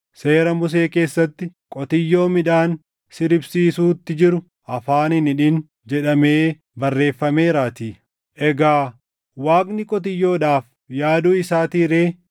Seera Musee keessatti, “Qotiyyoo midhaan siribsiisuutti jiru afaan hin hidhin” + 9:9 \+xt KeD 25:4\+xt* jedhamee barreeffameeraatii. Egaa Waaqni qotiyyoodhaaf yaaduu isaatii ree?